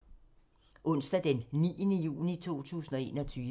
Onsdag d. 9. juni 2021